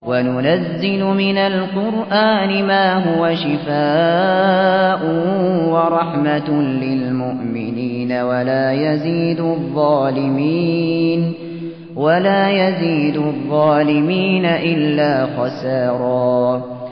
وَنُنَزِّلُ مِنَ الْقُرْآنِ مَا هُوَ شِفَاءٌ وَرَحْمَةٌ لِّلْمُؤْمِنِينَ ۙ وَلَا يَزِيدُ الظَّالِمِينَ إِلَّا خَسَارًا